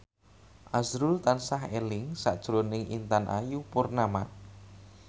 azrul tansah eling sakjroning Intan Ayu Purnama